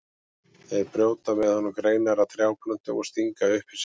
Þeir brjóta með honum greinar af trjáplöntum og stinga upp í sig.